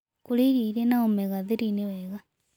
Kũrĩa irio ĩrĩ na omega 3 nĩwega